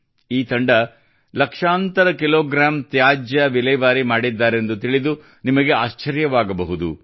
ಈ ತಂಡ ಲಕ್ಷಾಂತರ ಕಿಲೋಗ್ರಾಂ ತ್ಯಾಜ್ಯ ವಿಲೇವಾರಿ ಮಾಡಿದ್ದಾರೆಂದು ತಿಳಿದು ನಿಮಗೆ ಆಶ್ಚರ್ಯವಾಗಬಹುದು